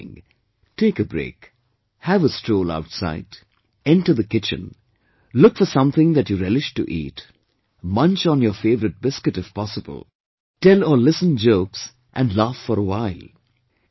Whatever you are doing, take a break, have a stroll outside, enter the kitchen, look for something that you relish to eat, munch on your favourite biscuit if possible, tell or listen jokes and laugh for a while